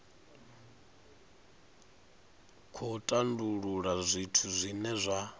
khou tandulula zwithu zwine zwa